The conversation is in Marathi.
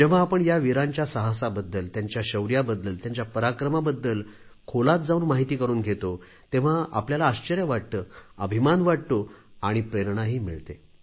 जेव्हा आपण या वीरांच्या साहसाबद्दल त्यांच्या शौर्याबद्दल त्यांच्या पराक्रमाबद्दल खोलात जाऊन माहिती करून घेतो तेव्हा आपल्याला आश्चर्य वाटते अभिमान वाटतो आणि प्रेरणाही मिळते